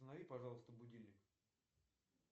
установи пожалуйста будильник